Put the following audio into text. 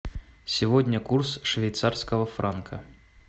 сегодня курс швейцарского франка